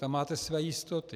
Tam máte své jistoty.